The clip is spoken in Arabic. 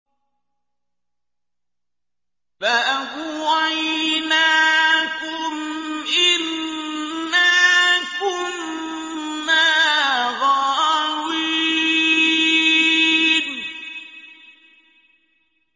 فَأَغْوَيْنَاكُمْ إِنَّا كُنَّا غَاوِينَ